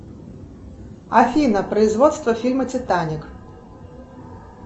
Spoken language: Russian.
афина производство фильма титаник